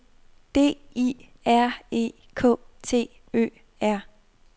D I R E K T Ø R